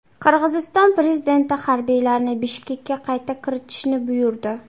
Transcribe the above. Qirg‘iziston prezidenti harbiylarni Bishkekka qayta kiritishni buyurdi.